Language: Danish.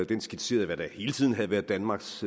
den skitserede hvad der hele tiden havde været danmarks